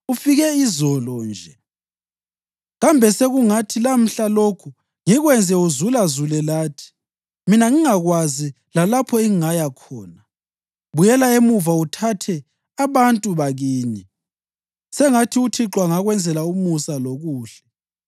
Ufike izolo nje. Kambe sekungathi lamhla lokhu ngikwenze uzulazule lathi, mina ngingakwazi lalapho engingaya khona? Buyela emuva uthathe abantu bakini. Sengathi uThixo angakwenzela umusa lokuhle.”